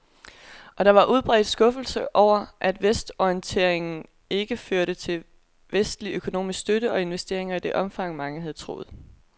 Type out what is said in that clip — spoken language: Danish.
Og der var udbredt skuffelse over, at vestorienteringen ikke førte til vestlig økonomisk støtte og investeringer i det omfang, mange havde troet.